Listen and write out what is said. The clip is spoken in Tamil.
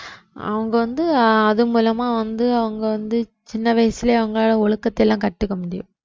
அவங்க வந்து அது மூலமா வந்து அவங்க வந்து சின்ன வயசுலயே அவங்க ஒழுக்கத்தை எல்லாம் கத்துக்க முடியும்